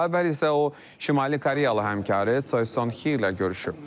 Daha əvvəl isə o şimali Koreyalı həmkarı Çoi Son Xli ilə görüşüb.